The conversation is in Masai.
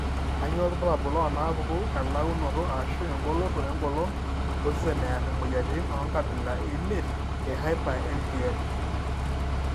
Kainyio irbulabul onaapuku elaunoto ashu engoloto engolon osesen ear imuoyiaritin oenkabila eimiet ehyper IgM?